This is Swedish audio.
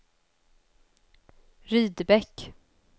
Rydebäck